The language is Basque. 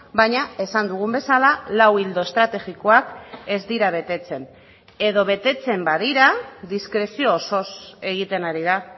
baina esan dugun bezala lau ildo estrategikoak ez dira betetzen edo betetzen badira diskrezio osoz egiten ari da